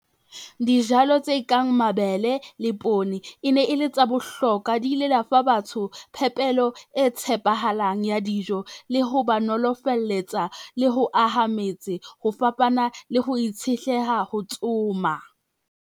Dijalo tse kang mabele le poone e ne e le tsa bohlokwa di ile da fa batho, phepelo e tshepahalang ya dijo, le ho ba nolofalletsa, le ho aha metse ho fapana le ho itshetleha ho tsoma.